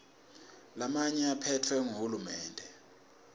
lamanye aphetfwe nguhulumende